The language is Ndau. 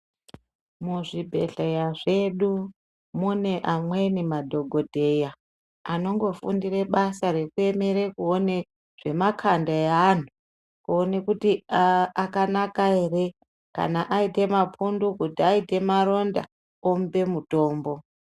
Muzvibhedhleya zvedu mune amweni madhokodheya anongofundire basa rekuemere kuone zvemakanda eanthu kuone kuti akanaka here kana aite mapundu kuti aite maronda tomupe mutombo.